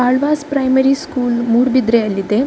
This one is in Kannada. Alva's primary school ಮೂಡಬಿದ್ರೆಯಲ್ಲಿದೆ.